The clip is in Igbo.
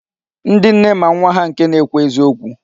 Ndị nne ma nwa ha nke na-ekwu eziokwu.